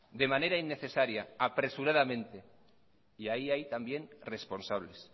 de manera innecesaria apresuradamente y ahí hay también responsables